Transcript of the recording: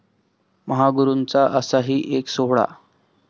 महागुरूंचा असाही एक 'सोहळा'!